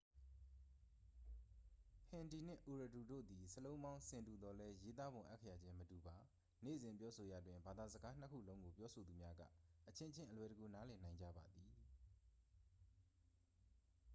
ဟင်ဒီနှင့် အူရဒူတို့သည် စာလုံးပေါင်း ဆင်တူသော်လည်း ရေးသားပုံ အက္ခရာချင်းမတူပါ နေ့စဉ် ပြောဆိုရာတွင် ဘာသာစကားနှစ်ခုလုံးကို ပြောဆိုသူများက အချင်းချင်း အလွယ်တကူ နားလည်နိုင်ကြပါသည်